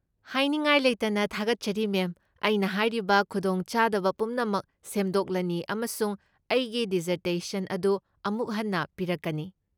ꯍꯥꯏꯅꯤꯡꯉꯥꯏ ꯂꯩꯇꯅ ꯊꯥꯒꯠꯆꯔꯤ, ꯃꯦꯝ, ꯑꯩꯅ ꯍꯥꯏꯔꯤꯕ ꯈꯨꯗꯣꯡꯆꯥꯗꯕ ꯄꯨꯝꯅꯃꯛ ꯁꯦꯝꯗꯣꯛꯂꯅꯤ ꯑꯃꯁꯨꯡ ꯑꯩꯒꯤ ꯗꯤꯖꯔꯇꯦꯁꯟ ꯑꯗꯨ ꯑꯃꯨꯛ ꯍꯟꯅ ꯄꯤꯔꯛꯀꯅꯤ꯫